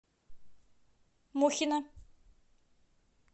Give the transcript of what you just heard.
мухина